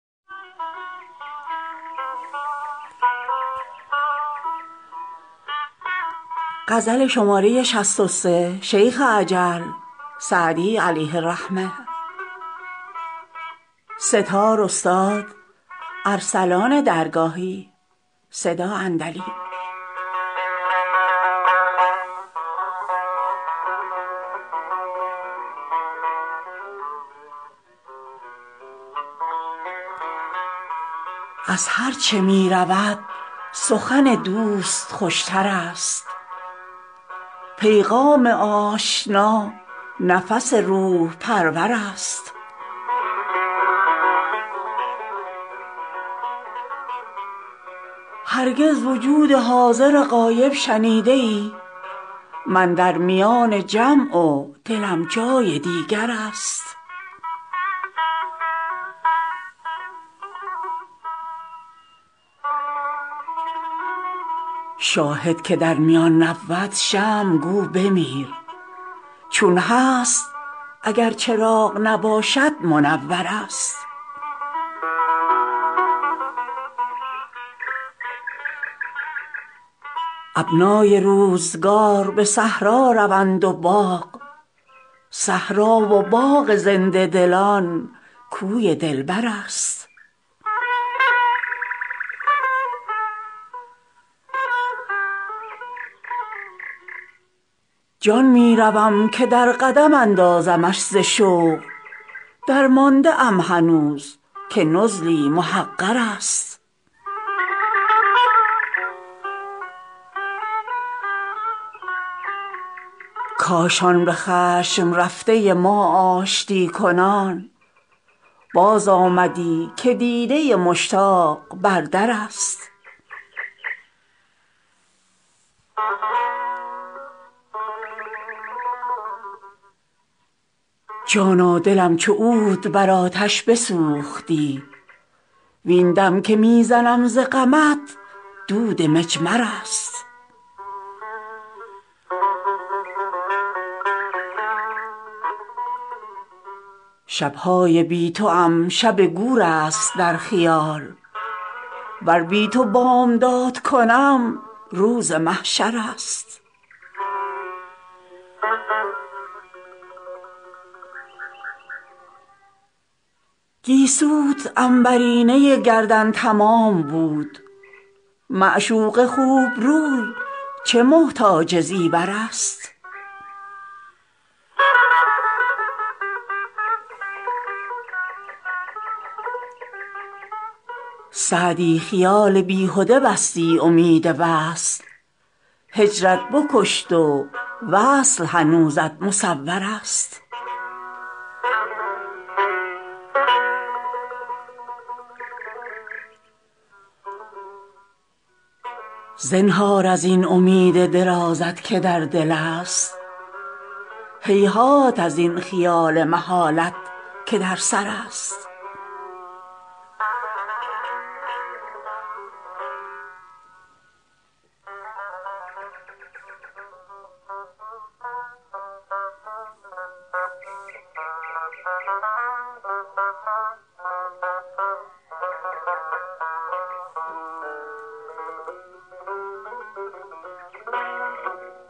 از هرچه می رود سخن دوست خوش تر است پیغام آشنا نفس روح پرور است هرگز وجود حاضر غایب شنیده ای من در میان جمع و دلم جای دیگر است شاهد که در میان نبود شمع گو بمیر چون هست اگر چراغ نباشد منور است ابنای روزگار به صحرا روند و باغ صحرا و باغ زنده دلان کوی دلبر است جان می روم که در قدم اندازمش ز شوق درمانده ام هنوز که نزلی محقر است کاش آن به خشم رفته ما آشتی کنان بازآمدی که دیده مشتاق بر در است جانا دلم چو عود بر آتش بسوختی وین دم که می زنم ز غمت دود مجمر است شب های بی توام شب گور است در خیال ور بی تو بامداد کنم روز محشر است گیسوت عنبرینه گردن تمام بود معشوق خوب روی چه محتاج زیور است سعدی خیال بیهده بستی امید وصل هجرت بکشت و وصل هنوزت مصور است زنهار از این امید درازت که در دل است هیهات از این خیال محالت که در سر است